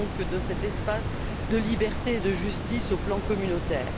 de cet espace de liberté et de justice sur le plan communautaire.